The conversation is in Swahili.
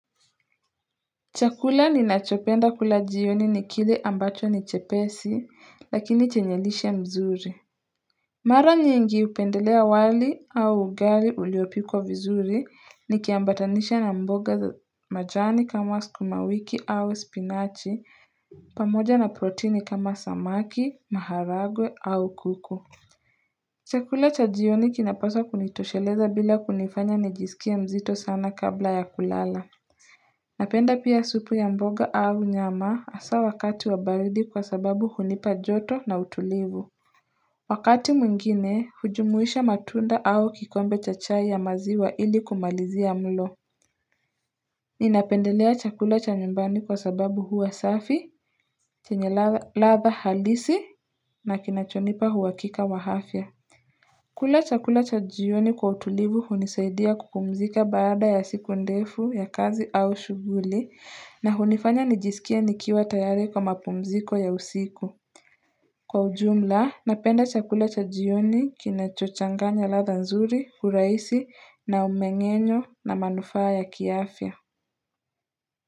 Chakula ni nachopenda kula jioni ni kile ambacho ni chepesi lakini chenye lishe mzuri. Mara nyingi hupendelea wali au ugali uliopikwa vizuri nikiambatanisha na mboga za majani kama sukumawiki au spinachi pamoja na proteini kama samaki, maharagwe au kuku. Chakula cha jioni kinapaswa kunitosheleza bila kunifanya nijisikie mzito sana kabla ya kulala. Napenda pia supu ya mboga au nyama hasa wakati wa baridi kwa sababu hunipa joto na utulivu Wakati mwingine, hujumuisha matunda au kikwembe cha chai ya maziwa ili kumalizia mlo Ninapendelea chakula cha nyumbani kwa sababu huwa safi, chenye ladha halisi, na kinachonipa huhakika wa afya kula chakula cha jioni kwa utulivu hunisaidia kupumzika baada ya siku ndefu ya kazi au shughuli na hunifanya nijisikie nikiwa tayari kwa mapumziko ya usiku. Kwa ujumla, napenda chakula cha jioni kinachochanganya ladha nzuri, hurahisi, na umengenyo, na manufaa ya kiafya.